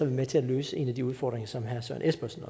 vi med til at løse en af de udfordringer som herre søren espersen